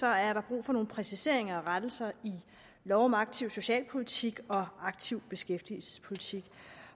er der brug for nogle præciseringer og rettelser i lov om aktiv socialpolitik og aktiv beskæftigelsespolitik